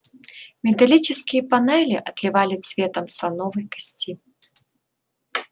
металлические панели отливали цветом слоновой кости